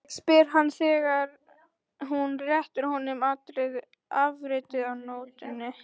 spyr hann þegar hún réttir honum afritið af nótunni.